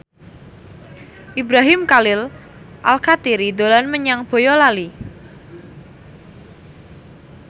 Ibrahim Khalil Alkatiri dolan menyang Boyolali